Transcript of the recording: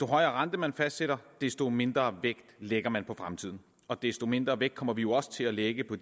rente man fastsætter desto mindre vægt lægger man på fremtiden og desto mindre vægt kommer vi jo også til at lægge på